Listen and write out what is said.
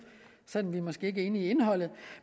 selv om vi måske ikke er enige i indholdet